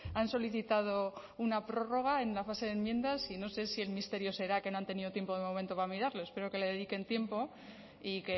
han solicitado una prórroga en la fase de enmiendas y no sé si el misterio será que no han tenido tiempo de momento para mirarlo espero que le dediquen tiempo y